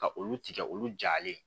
Ka olu tigɛ olu jalen